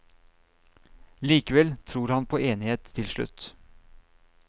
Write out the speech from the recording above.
Likevel tror han på enighet til slutt.